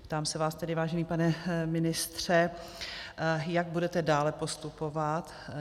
Ptám se vás tedy, vážený pane ministře, jak budete dále postupovat.